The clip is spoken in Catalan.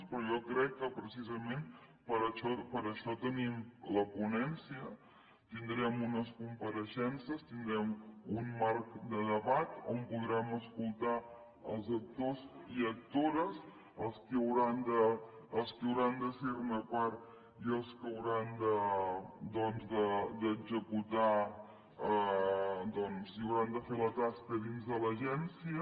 però jo crec que precisament per això tenim la ponència tindrem unes compareixences tindrem un marc de debat on podrem escoltar els actors i actores els qui hauran de ser ne part i els que hauran doncs d’executar i hauran de fer la tasca dins de l’agència